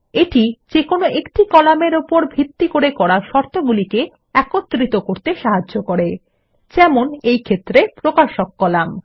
এটি যেকোনো একক কলাম এর উপর ভিত্তি করে করা শর্তগুলিকে একত্রিত করতে সাহায্য করে যেমন এই ক্ষেত্রে প্রকাশক কলাম